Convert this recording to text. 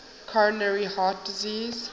coronary heart disease